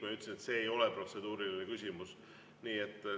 Ma ütlesin, et see ei ole protseduuriline küsimus.